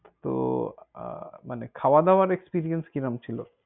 তো আহ মানে খায়য়া দায়য়ার experience কিরম ছিল?